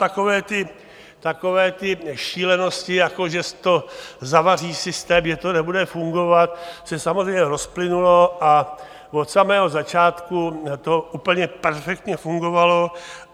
Takové ty šílenosti, jako že to zavaří systém, že to nebude fungovat, se samozřejmě rozplynuly a od samého začátku to úplně perfektně fungovalo.